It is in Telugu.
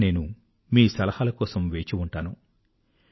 అయినా నేను మీ సలహాల కొరకు వేచి ఉంటాను